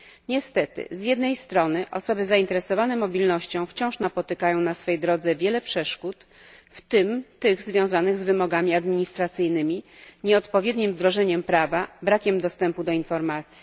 Niestety, z jednej strony osoby zainteresowane mobilnością wciąż napotykają na swej drodze wiele przeszkód, w tym tych związanych z wymogami administracyjnymi, nieodpowiednim wdrożeniem prawa, brakiem dostępu do informacji.